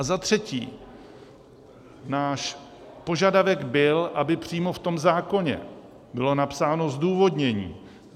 A za třetí, náš požadavek byl, aby přímo v tom zákoně bylo napsáno zdůvodnění.